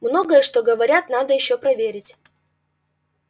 многое что говорят надо ещё проверить